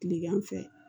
Kilegan fɛ